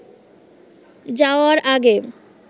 যাওয়ার আগে